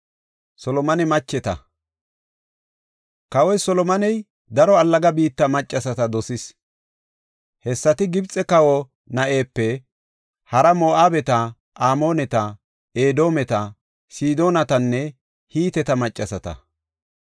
Kawoy Solomone daro allaga biitta maccasata dosis. Hessati Gibxe kawa na7epe haraa Moo7abeta, Amooneta, Edoometa, Sidoonatanne Hiteta maccasata.